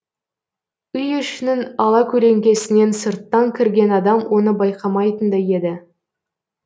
үй ішінің алакөлеңкесінен сырттан кірген адам оны байқамайтындай еді